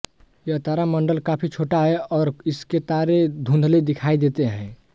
यह तारामंडल काफ़ी छोटा है और इसके तारे धुंधले दिखाई देते है